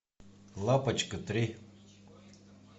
лапочка три